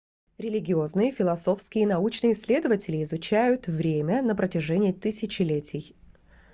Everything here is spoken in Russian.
религиозные философские и научные исследователи изучают время на протяжении тысячелетий